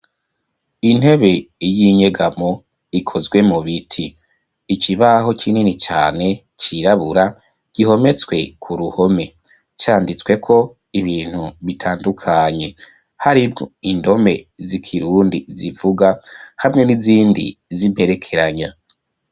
Intebe, y'inyegamo, ikozwe mu biti; ikibaho kinini cane, cirabura, gihometswe ku ruhome; canditsweko, ibintu bitandukanye, harimwo, indome z'ikirundi, zivuga, hamwe n'izindi, z'imperekeranya.